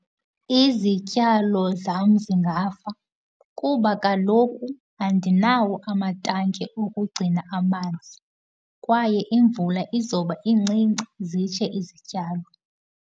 Izityalo zam zingafa kuba kaloku andinawo amatanki okugcina amanzi, kwaye imvula izobe incinci, zitshe izityalo.